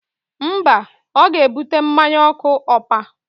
Mba, ọ ga-ebute mmanya ọkụ ompa